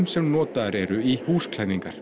sem notaðar eru í